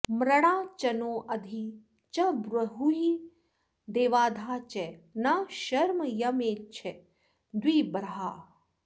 मृडा चनो अधि च ब्रूहि देवाधा च नः शर्म यम्मेछ द्विबर्हाः